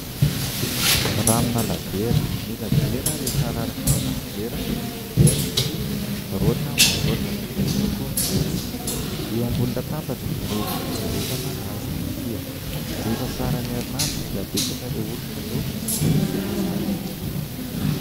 Ranona labiera : ny labiera rehefa araraka ao anaty vera dia misy roatra mandroatra miloko fotsy, eo ambonin'ny latabatra no fijerevana azy ity ; rehefa faran'ny herinandro dia betsaka ireo olona no misotro izany.